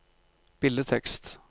billedtekst